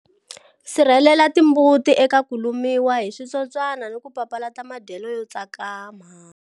Sirhelelela timbuti eka ku lumiwa hi switsotswana hi ku papalata madyelo yo tsakama.